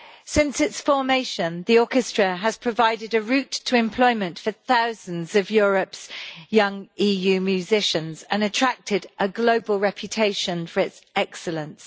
Since its formation, the orchestra has provided a route to employment for thousands of Europe's young EU musicians and attracted a global reputation for its excellence.